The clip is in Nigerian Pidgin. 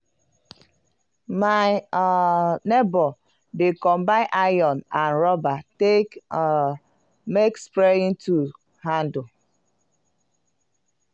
my um neibor dey combine iron and rubber take um make spraying tool handle.